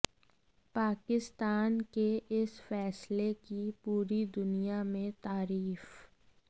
पाकिस्तान के इस फैसले की पूरी दुनिया में तारीफ